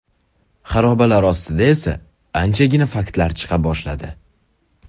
Xarobalar ostidan esa anchagina faktlar chiqa boshladi.